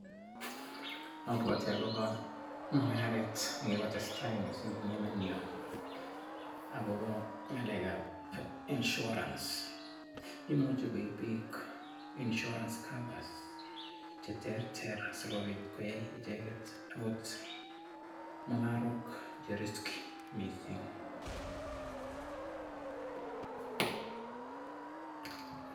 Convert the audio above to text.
Abwoti mung'aret nekikotestai mising akobo insurance nekikokon tabushek chechang eng bik